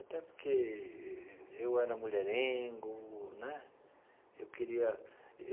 Até porque eu era mulherengo né eu queria.